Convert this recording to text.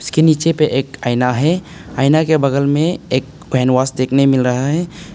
इसके नीचे पर एक आईना है आईना के बगल में एक कैनवस देखने मिल रहा है।